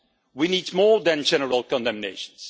We need more than general condemnation.